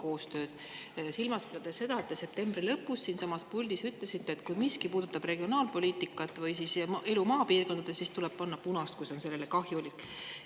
Ma pean silmas seda, et te septembri lõpus ütlesite siinsamas puldis, et kui miski puudutab regionaalpoliitikat või elu maapiirkondades, siis tuleb panna punast, kui see on sellele kahjulik.